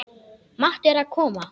Matti er að koma!